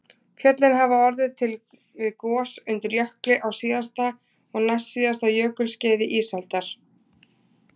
Fjöllin hafa orðið til við gos undir jökli á síðasta og næstsíðasta jökulskeiði ísaldar